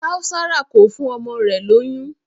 Kaosara kò fún ọmọ rẹ̀ lóyún.